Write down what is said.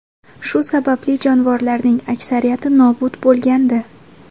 Shu sababli jonivorlarning aksariyati nobud bo‘lgandi.